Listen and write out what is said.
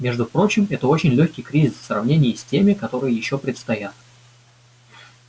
между прочим это очень лёгкий кризис в сравнении с теми которые ещё предстоят